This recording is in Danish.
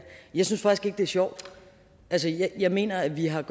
jeg synes faktisk ikke det er sjovt jeg mener at vi har